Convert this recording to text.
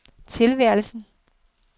tilværelsen